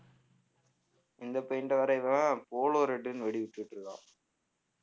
இந்த paint அ வேற இவன் polo red னு வெடி வெச்சிட்டிருக்கான்